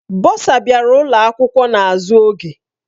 Bọsa bịara ụlọ akwụkwọ n'azụ oge.